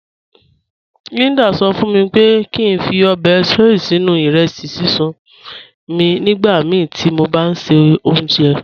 Líndà sọ̀ fún mí pé kí n fí óbè soy sínu irẹsí síṣun mí nígbàmíí tí mó bá n ṣẹ ọ̀unṣẹ́.